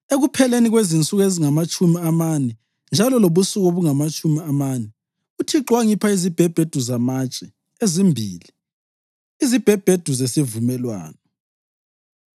Ekupheleni kwensuku ezingamatshumi amane njalo lobusuku obungamatshumi amane, uThixo wangipha izibhebhedu zamatshe ezimbili, izibhebhedu zesivumelwano.